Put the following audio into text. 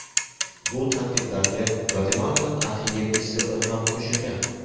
Bu tanqidlarga Gvatemala arxiyepiskopi ham qo‘shilgan.